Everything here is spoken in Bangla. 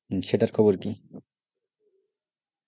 হ্যাঁ সেটার খবর কি?